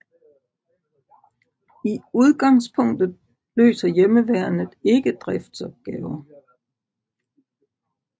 I udgangspunktet løser Hjemmeværnet ikke driftsopgaver